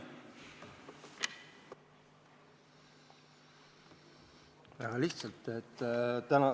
Väga lihtsalt.